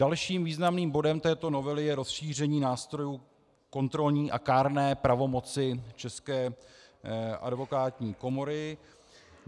Dalším významným bodem této novely je rozšíření nástrojů kontrolní a kárné pravomoci České advokátní komory.